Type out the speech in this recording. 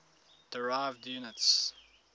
derived units